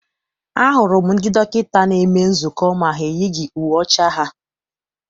A hụrụ m ndị dọkịta na-eme nzukọ ma ha eyighị uwe ọcha ha.